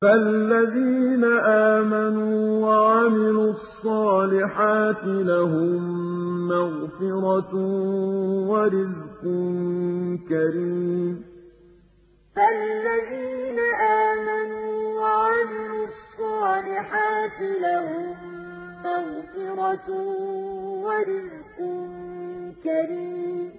فَالَّذِينَ آمَنُوا وَعَمِلُوا الصَّالِحَاتِ لَهُم مَّغْفِرَةٌ وَرِزْقٌ كَرِيمٌ فَالَّذِينَ آمَنُوا وَعَمِلُوا الصَّالِحَاتِ لَهُم مَّغْفِرَةٌ وَرِزْقٌ كَرِيمٌ